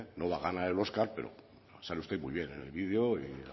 no va a ganar el óscar pero sale usted muy bien en el vídeo